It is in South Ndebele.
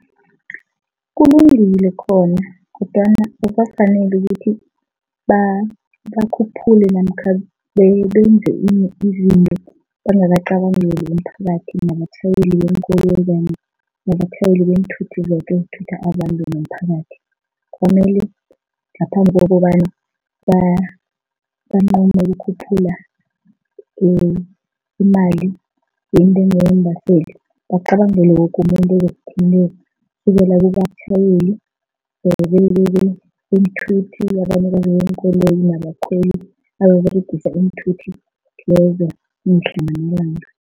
Kulungile khona kodwana akukafaneli ukuthi bakhuphule namkha benze izinto bangacabangeli umphakathi nabatjhayeli beenkoloyi nabatjhayeli beenthuthi zoke ezithutha abantu nomphakathi. Kwamele ngaphambi kokobana banqome ukukhuphula imali yeentengo yeembaseli, bacabangele woke umuntu ozokuthinteka, kusukela kubatjhayeli beenthuthi beenkoloyi nabakhweli ababeregisa iinthuthi lezo mihla namalanga.